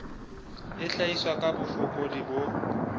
e hlahiswa ka bofokodi bo